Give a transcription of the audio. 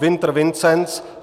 Winter Vincenc